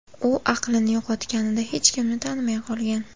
U aqlini yo‘qotganida hech kimni tanimay qolgan.